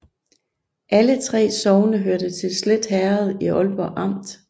Alle 3 sogne hørte til Slet Herred i Aalborg Amt